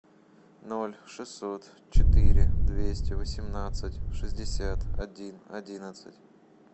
ноль шестьсот четыре двести восемнадцать шестьдесят один одиннадцать